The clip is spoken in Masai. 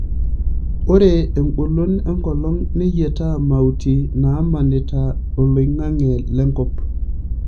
Ore engolon enkolong neyiataa mauti naamanita oloing'ang'e lenkop.